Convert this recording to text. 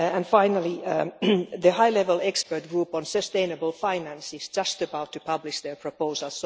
Finally, the High Level Expert Group on sustainable finance is just about to publish its proposals.